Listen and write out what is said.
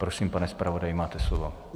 Prosím, pane zpravodaji, máte slovo.